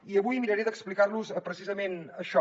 i avui miraré d’explicar los precisament això